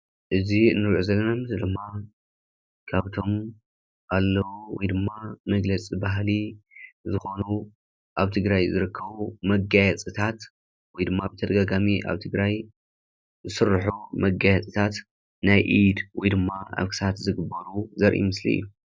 እዚ ንርኦ ዘለና እዚ ድማ ካብቶም ኣለዉ ወይድማ መግለፂ ባህሊ ዝኮኑ ኣብ ትግራይ ዝርከቡ መጋየፂታት ወይድማ ብተደጋጋሚ ኣብ ትግራይ ዝስርሑ መጋየፂታት ናይ ኢድ ወይድማ ኣብ ክሳድ ዝግበሩ ዘርኢ ምስሊ እዩ።